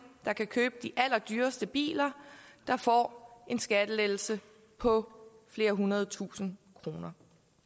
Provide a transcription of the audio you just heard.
der kan købe de allerdyreste biler der får en skattelettelse på flere hundrede tusind kroner